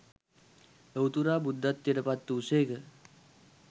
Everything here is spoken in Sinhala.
ලොවුතුරා බුද්ධත්වයට පත් වූ සේක.